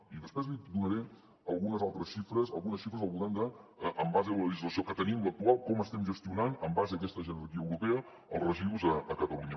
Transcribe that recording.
i després li donaré algunes altres xifres en base a la legislació que tenim l’actual sobre com estem gestionant en base a aquesta jerarquia europea dels residus a catalunya